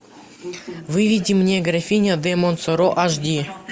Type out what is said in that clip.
выведи мне графиня де монсоро аш ди